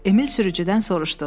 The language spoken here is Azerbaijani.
Emil sürücüdən soruşdu: